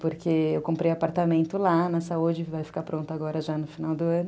Porque eu comprei apartamento lá na Saúde, vai ficar pronto agora já no final do ano.